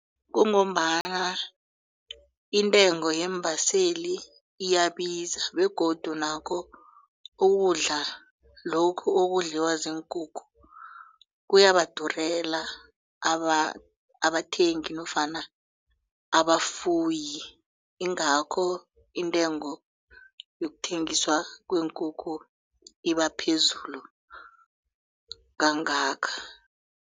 Kungombana intengo yeembaseli iyabiza begodu nakho ukudla lokhu okudliwa ziinkukhu kuyabadurela abathengi nofana abafuyi ingakho intengo yokuthengiswa kweenkukhu iba phezulu kangaka.